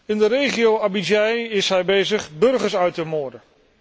In de regio Abyei is hij bezig burgers uit te moorden.